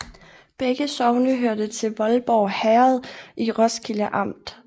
Begge sogne hørte til Voldborg Herred i Roskilde Amt